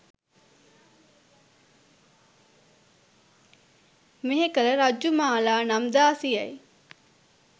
මෙහෙකළ රජ්ජුමාලා නම් දාසියයි.